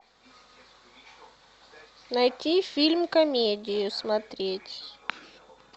найти фильм комедию смотреть